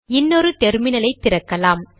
இன்னொரு டெர்மினலை திறக்கலாம்